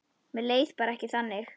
Mér leið bara ekki þannig.